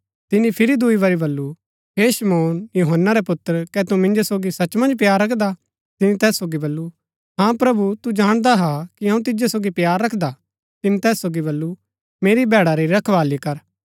तिनी फिरी दूई बरी बल्लू हे शमौन यूहन्‍ना रै पुत्र कै तू मिन्जो सोगी सच मन्ज प्‍यार रखदा तिनी तैस सोगी बल्लू हाँ प्रभु तू जाणदा हा कि अऊँ तिजो सोगी प्‍यार रखदा तिनी तैस सोगी बल्लू मेरी भैड़ा री रखवाळी कर